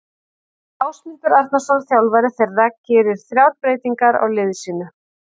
Ásmundur Arnarsson þjálfari þeirra gerir þrjár breytingar á liði sínu.